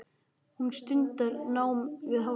Hún stundar nám við háskólann.